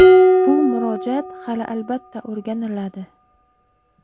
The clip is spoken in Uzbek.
Bu murojaat hali, albatta, o‘rganiladi.